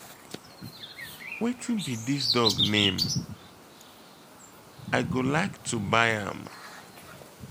Wetin be dis dog name? I go like to buy am